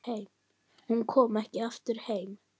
Hún kom ekki aftur heim.